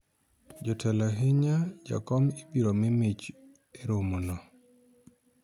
jotelo ahinya jakom ibiro mii mich e romo no